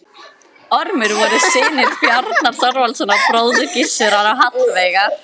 Ormur voru synir Bjarnar Þorvaldssonar, bróður Gissurar, og Hallveigar